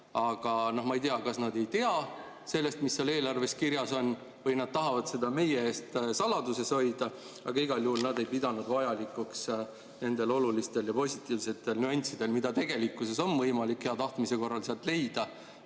Aga ma ei tea, kas nad ei tea, mis seal eelarves kirjas on, või nad tahavad seda meie eest saladuses hoida, aga igal juhul nad ei pidanud vajalikuks nendel olulistel ja positiivsetel nüanssidel, mida on võimalik hea tahtmise korral sealt leida.